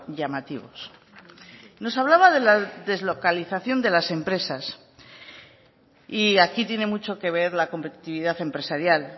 llamativos nos hablaba de la deslocalización de las empresas y aquí tiene mucho que ver la competitividad empresarial